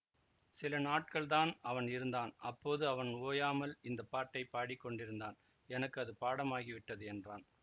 சில நாட்கள் தான் அவன் இருந்தான் அப்போது அவன் ஓயாமல் இந்த பாட்டைப் பாடிக் கொண்டிருந்தான் எனக்கு அது பாடமாகி விட்டது என்றான்